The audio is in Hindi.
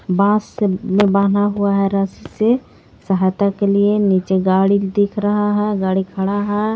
बांस से ये बना हुआ है रस्सी से सहायता के लिए नीचे गाड़ी दिख रहा है गाड़ी खड़ा है.